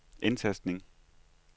indtastning